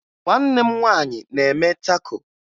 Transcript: Nwanne m nwaanyị na-eme tako